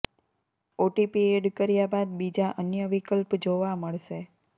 OTP add કર્યા બાદ બીજા અન્ય વિકલ્પ જોવા મળશે